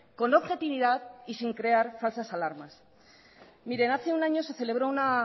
con objetividad y sin crear falsas alarmas mire hace un año se celebro una